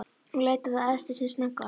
Hún leit á þá efstu sem snöggvast.